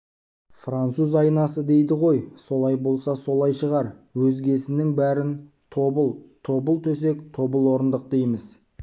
француз айнасы дейді ғой солай болса солай шығар өзгесінің бәрін тобыл тобыл-төсек тобыл-орындық дейміз